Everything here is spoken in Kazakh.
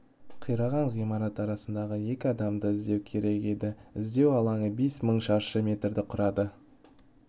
қираған ғимарат арасында екі адамды іздеу керек еді іздеу алаңы бес мың шаршы метрді құрады